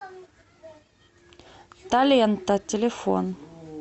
таленто телефон